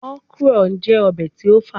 Okra jẹ obe ti o fa